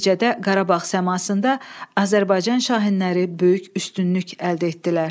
Nəticədə Qarabağ səmasında Azərbaycan şahinləri böyük üstünlük əldə etdilər.